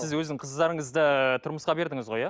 сіз өзіңіздің қыздарыңызды тұрмысқа бердіңіз ғой иә